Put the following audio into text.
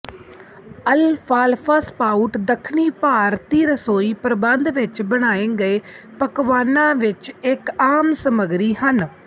ਅਲਫਾਲਫਾ sprout ਦੱਖਣੀ ਭਾਰਤੀ ਰਸੋਈ ਪ੍ਰਬੰਧ ਵਿਚ ਬਣਾਏ ਗਏ ਪਕਵਾਨਾਂ ਵਿਚ ਇਕ ਆਮ ਸਮੱਗਰੀ ਹਨ